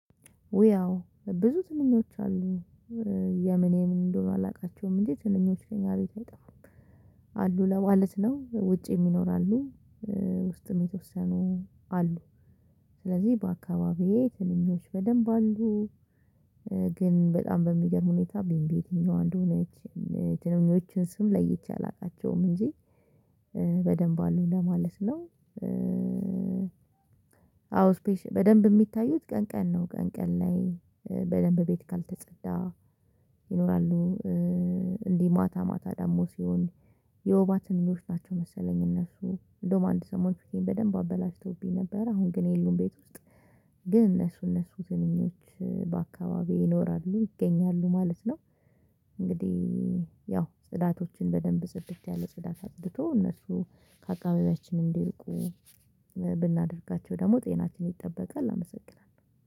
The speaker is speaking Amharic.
ያው ብዙ ትንኞች አሉ። የምን ምን እንደሆኑ አላውቃቸውም እንጂ ትንኞች ከኛ ቤት አይጠፋም። አሉ ለማለት ነው ውጭም ይኖራሉ። ውስጥም የተወሰኑ አሉ። ስለዚህ በአካባቢዬ ትንኞች በደንብ አሉ። ግን በጣም በሚገርም ሁኔታ ቢምቢ የትኛው አንደሆነች የትንኞችን ስም ለይቼ አላውቃቸውም እንጂ በደንብ አሉ ለማለት ነው። አዎ በደንብ የሚታዩት ቀን ቀን ነው። ቀን ቀን ላይ በደንብ ቤት ካልተጸዳ ይኖራሉ። እንዲህ ማታ ማታ ደግሞ ሲሆን የወባ ትንኞች ናቸው መሰለኝ እነሱ እንደውም አንድ ሰሞን በደንብ አበላሽተውብኝ ነበር አሁን ግን የሉም ቤት ውስጥ። ግን እነሱ እነሱ ትንኞች በአካባቢው ይኖራሉ ይገኛሉ ማለት ነው። እንግዲህ ያው ጽዳቶችን በደንብ ጽድት ያለ ጽዳት አጽድቶ እነሱ ከአከባቢያችን እንዲርቁ ብናደርጋቸው ደግሞ ጤናችን ይጠበቃል አመሰግናለሁ።